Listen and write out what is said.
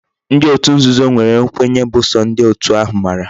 Ndi otu nzuzo nwere nkwenye bu so ndi otu ha mara